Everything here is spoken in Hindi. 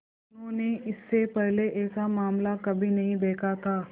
उन्होंने इससे पहले ऐसा मामला कभी नहीं देखा था